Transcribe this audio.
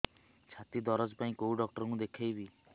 ଛାତି ଦରଜ ପାଇଁ କୋଉ ଡକ୍ଟର କୁ ଦେଖେଇବି